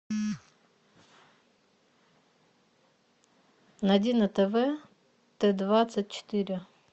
найди на тв т двадцать четыре